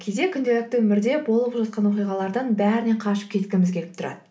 кейде күнделікті өмірде болып жатқан оқиғалардың бәрінен қашып кеткіміз келіп тұрады